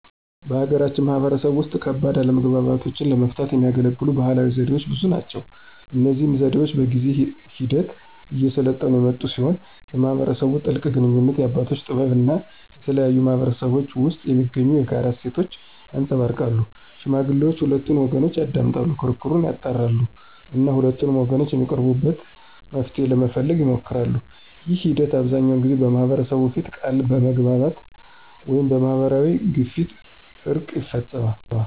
በሀገራችን ማህበረሰብ ውስጥ ከባድ አለመግባባቶችን ለመፍታት የሚያገለግሉ ባህላዊ ዘዴዎች ብዙ ናቸው። እነዚህ ዘዴዎች በጊዜ ሂደት እየሰለጠኑ የመጡ ሲሆን የማህበረሰቡን ጥልቅ ግንኙነት፣ የአባቶችን ጥበብ እና የተለያዩ ማህበረሰቦች ውስጥ የሚገኙ የጋራ እሴቶችን ያንፀባርቃሉ። ሽማግሌዎች ሁለቱንም ወገኖች ያዳምጣሉ፣ ክርክሩን ያጣራሉ እና ሁለቱም ወገኖች የሚቀበሉትን መፍትሄ ለመፈለግ ይሞክራሉ። ይህ ሂደት አብዛኛውን ጊዜ በማህበረሰቡ ፊት ቃል በመግባት ወይም በማህበራዊ ግፊት እርቅ ይፈፀማል።